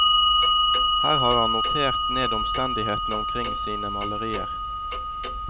Her har han notert ned omstendighetene omkring sine malerier.